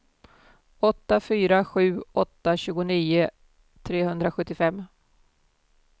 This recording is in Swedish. åtta fyra sju åtta tjugonio trehundrasjuttiofem